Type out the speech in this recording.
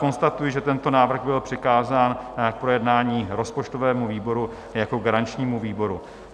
Konstatuji, že tento návrh byl přikázán k projednání rozpočtovému výboru jako garančnímu výboru.